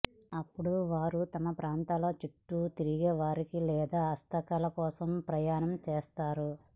అప్పుడు వారు తమ ప్రాంతాల చుట్టూ తిరిగేవారికి లేదా హస్తకళల కోసం ప్రయాణం చేస్తారు